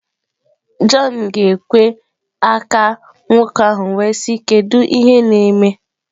John ga ekwe aka nwoke ahụ wee sị" kedu ihe neme?